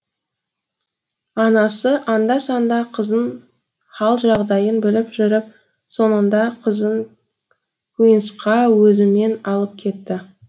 анасы анда санда қызын хал жағдайын біліп жүріп соңында қызын куинсқа өзімен алып кетті